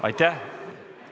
Aitäh!